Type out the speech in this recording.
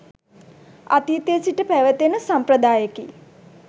අතීතයේ සිට පැවත එන සම්ප්‍රදායකි.